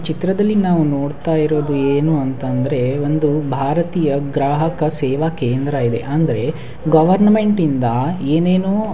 ಚಿತ್ರದಲ್ಲಿ ನಾವು ನೋಡ್ತಾ ಇರೋದು ಏನಂದರೆ ಭಾರತೀಯ ಗ್ರಾಹಕ ಸೇವಾ ಕೇಂದ್ರವಿದೆ ಅಂದ್ರೆ ಗೌವರ್ನ್ಮೆಂಟಿಂದ ಏನೇನೋ --